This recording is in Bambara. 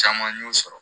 Caman y'o sɔrɔ